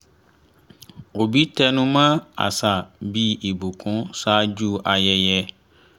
òbí tẹnumọ́ àṣà bí ìbùkún ṣáájú ayẹyẹ